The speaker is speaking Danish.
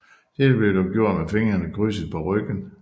Dette blev dog gjort med fingrene krydset på ryggen